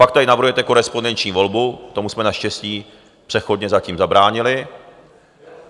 Pak tady navrhujete korespondenční volbu, tomu jsme naštěstí přechodně zatím zabránili.